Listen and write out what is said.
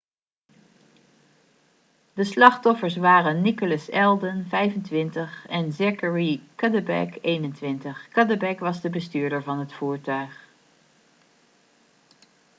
de slachtoffers waren nicholas alden 25 en zachary cuddeback 21 cuddeback was de bestuurder van het voertuig